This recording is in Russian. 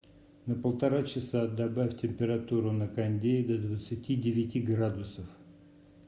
на полтора часа добавь температуру на кондее до двадцати девяти градусов